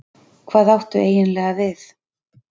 Hvað áttu eiginlega við?